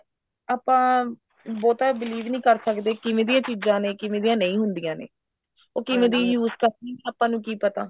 ਆਪਾਂ ਬਹੁਤਾ believe ਨੀ ਕਰ ਸਕਦੇ ਕਿਵੇਂ ਦੀਆਂ ਚੀਜ਼ਾਂ ਨੇ ਕਿਵੇਂ ਦੀਆਂ ਨਹੀਂ ਹੁੰਦੀਆਂ ਨੇ ਉਹ ਕਿਵੇਂ ਦੀ use ਕਰਦੇ ਨੇ ਆਪਾਂ ਨੂੰ ਕੀ ਪਤਾ